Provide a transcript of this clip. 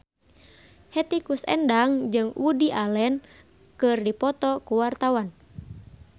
Hetty Koes Endang jeung Woody Allen keur dipoto ku wartawan